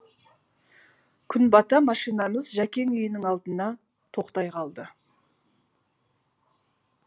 күн бата машинамыз жәкең үйінің алдына тоқтай қалды